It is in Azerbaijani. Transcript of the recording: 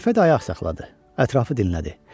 Xəlifə də ayaq saxladı, ətrafı dinlədi.